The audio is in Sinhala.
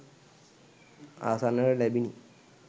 අසන්නට ලැබිණි